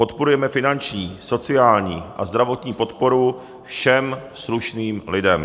Podporujeme finanční, sociální a zdravotní podporu všem slušným lidem.